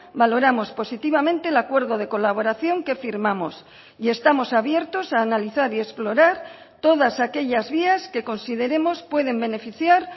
valoramos positivamente el acuerdo de colaboración que firmamos y estamos abiertos a analizar y explorar todas aquellas vías que consideremos pueden beneficiar